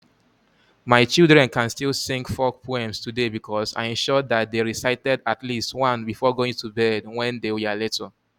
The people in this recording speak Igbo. My children can still sing folk poems today because I ensured that they recited at least one before going to bed when they were little.